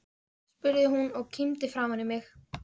spurði hún og kímdi framan í mig.